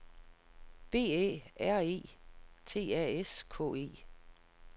B Æ R E T A S K E